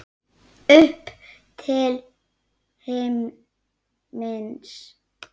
Upp til himins.